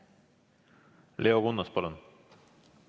Leo Kunnas, palun!